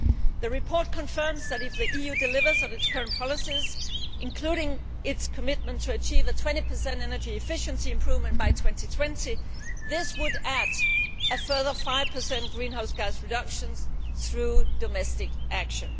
The report confirms that, if the EU delivers on its current policies including its commitment to achieve a 20 energy efficiency improvement by 2020 this would add a further 5 greenhouse gas reduction through domestic action.